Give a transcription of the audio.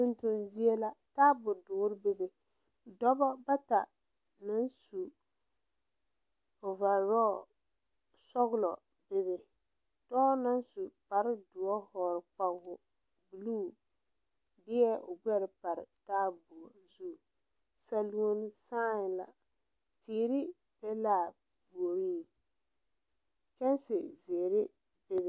Tontoŋ zie la taabo doɔre bebe dɔbɔ bata meŋ su ovarɔɔ sɔglɔ bebe dɔɔ naŋ su kpare doɔ hɔɔle kpawoɔ deɛ o gbɛre pare taabo zu saluo saɛ la tere be la a puoriŋ kyanse zeere bebe.